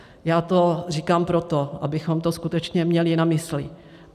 Já to říkám proto, abychom to skutečně měli na mysli.